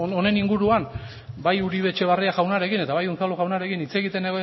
honen inguruan bai uribe etxebarria jaunarekin eta bai unzalu jaunarekin hitz egiten